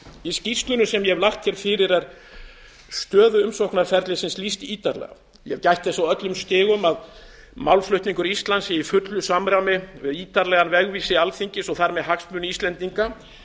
í skýrslunni sem ég hef lagt hér fyrir er stöðu umsóknarferlisins lýst ítarlega ég hef gætt þess á öllum stigum að málflutningur íslands sé í fullu samræmi við ítarlegan vegvísi alþingis og þar með hagsmuni íslendinga